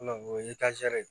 o ye de ye